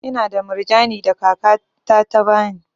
Ina da murjani da kaka ta ta bani.